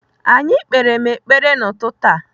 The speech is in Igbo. Anyị kpere m ekpere n'ụtụtụ a.